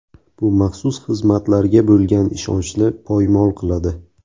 Bu maxsus xizmatlarga bo‘lgan ishonchni poymol qiladi”.